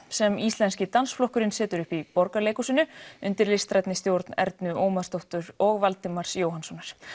sem Íslenski dansflokkurinn setur upp í Borgarleikhúsinu undir listrænni stjórn Ernu Ómarsdóttur og Valdimars Jóhannssonar